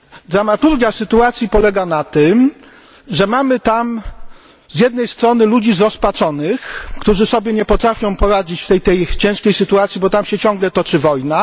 Dramaturgia sytuacji polega na tym, że mamy tam, z jednej strony, ludzi zrozpaczonych, którzy sobie nie potrafią poradzić w tej ciężkiej sytuacji, bo tam się ciągle toczy wojna.